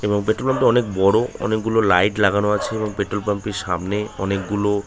এবং petrol pump -এ অনেক বড়ো । অনেকগুলো লাইট লাগানো আছে এবং পেট্রল পাম্প এর সামনে অনেকগুলো --